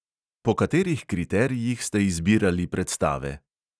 Po katerih kriterijih ste izbirali predstave?